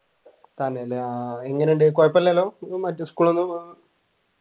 തന്നെയല്ലേ ആഹ് എങ്ങനെയുണ്ട് കുഴപ്പമില്ലാലോ